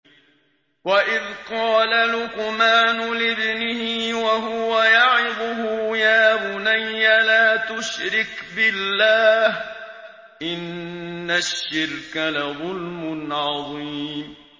وَإِذْ قَالَ لُقْمَانُ لِابْنِهِ وَهُوَ يَعِظُهُ يَا بُنَيَّ لَا تُشْرِكْ بِاللَّهِ ۖ إِنَّ الشِّرْكَ لَظُلْمٌ عَظِيمٌ